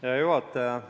Hea juhataja!